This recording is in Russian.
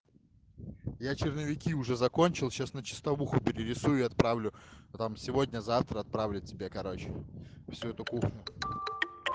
я черновики уже закончил сейчас на чистовую перерисую и отправлю ну там сегодня завтра отправлю тебе короче всю эту кухню